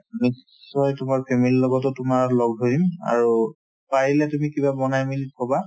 নিশ্চয় তোমাৰ family ৰ লগতো তোমাৰ লগ ধৰিম আৰু পাৰিলে তুমি কিবা বনাই মেলি থবা